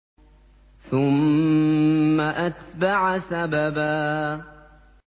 ثُمَّ أَتْبَعَ سَبَبًا